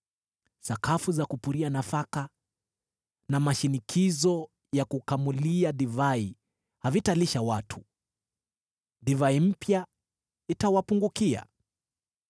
Sakafu za kupuria nafaka na mashinikizo ya kukamulia divai havitalisha watu, divai mpya itawapungukia.